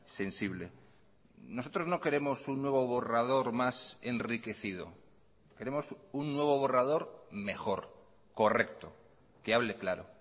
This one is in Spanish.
sensible nosotros no queremos un nuevo borrador más enriquecido queremos un nuevo borrador mejor correcto que hable claro